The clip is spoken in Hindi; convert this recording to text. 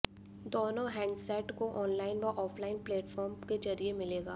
दोनों हैंडसेट को ऑनलाइन व ऑफलाइन प्लेटफॉर्म के जरिए मिलेगा